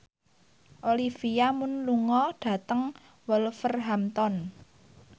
Olivia Munn lunga dhateng Wolverhampton